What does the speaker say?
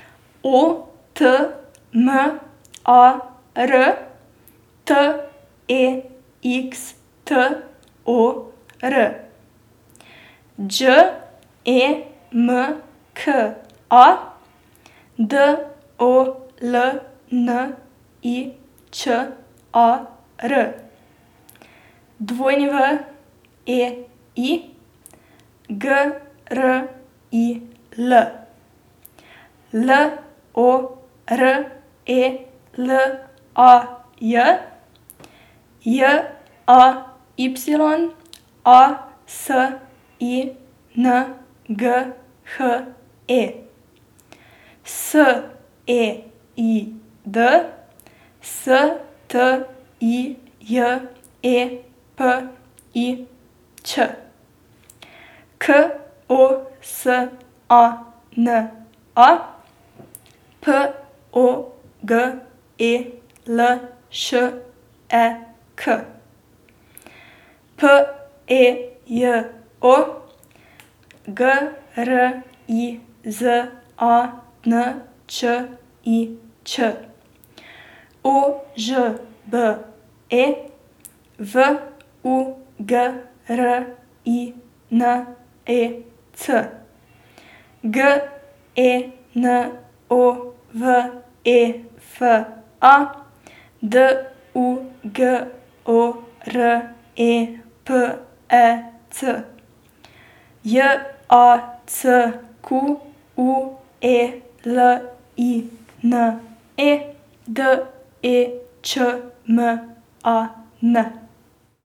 O T M A R, T E X T O R; Đ E M K A, D O L N I Č A R; W E I, G R I L; L O R E L A J, J A Y A S I N G H E; S E I D, S T I J E P I Ć; K O S A N A, P O G E L Š E K; P E J O, G R I Z A N Č I Č; O Ž B E, V U G R I N E C; G E N O V E F A, D U G O R E P E C; J A C Q U E L I N E, D E Č M A N.